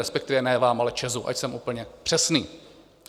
Respektive ne vám, ale ČEZu, ať jsem úplně přesný.